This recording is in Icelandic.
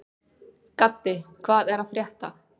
Gaddi, hvað er að frétta?